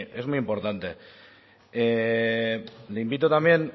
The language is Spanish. es muy importante le invito también